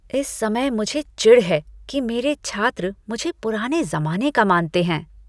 इस समय मुझे चिढ़ है कि मेरे छात्र मुझे पुराने ज़माने का मानते हैं।